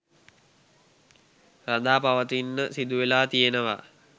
රඳාපවතින්න සිදුවෙලා තියෙනවා